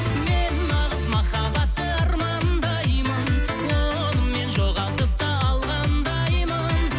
мен нағыз махаббатты армандаймын оны мен жоғалтып та алғандаймын